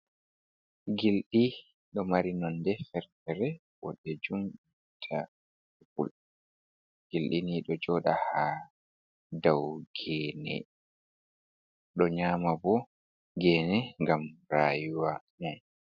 Gilɗi ɗo mari nonde ferfere, waɗɗe jumta pul gilɗini ɗo joɗa ha dau gene, ɗo nyama bo gene gam rayuwa.